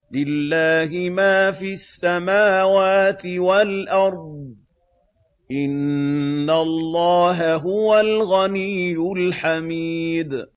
لِلَّهِ مَا فِي السَّمَاوَاتِ وَالْأَرْضِ ۚ إِنَّ اللَّهَ هُوَ الْغَنِيُّ الْحَمِيدُ